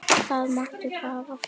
Það máttu hafa frá okkur.